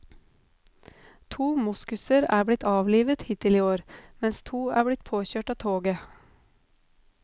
Tre moskuser er blitt avlivet hittil i år, mens to er blitt påkjørt av toget.